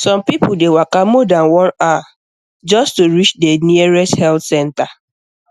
some people dey waka more than one hour just to reach the nearest health center